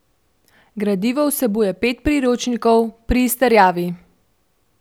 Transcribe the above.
Gradivo vsebuje pet priročnikov pri izterjavi.